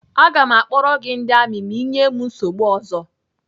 Aga m akpọrọ gị ndị amị ma ị nyee m nsogbu ọzọ.